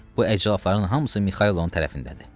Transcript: Bu əclafpların hamısı Mikaylonun tərəfindədir.